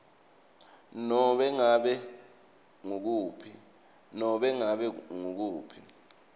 nobe ngabe ngukuphi